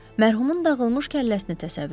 Mərhumun dağılmış kəlləsini təsəvvür elədim.